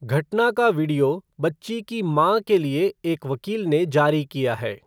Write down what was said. घटना का वीडियो बच्ची की मां के लिए एक वकील ने जारी किया है.